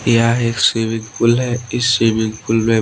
यह एक swimming pool है इस स्विमिंग पुल में--